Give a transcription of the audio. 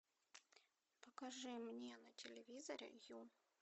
покажи мне на телевизоре ю